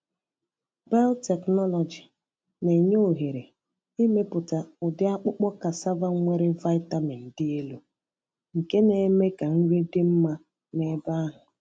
Biotechnology na-enye ohere ịmepụta ụdị akpụkpọ cassava nwere vitamin dị elu, nke na-eme ka nri dị mma n’ebe ahụ.